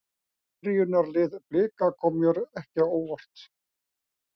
Byrjunarlið Blika kom mér ekki á óvart.